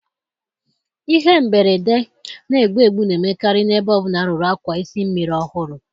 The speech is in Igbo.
Ihe mberede na-egbu egbu na-emekarị na-ebe ọ bụla arụrụ akwa isi mmiri ọhụrụ